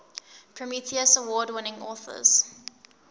prometheus award winning authors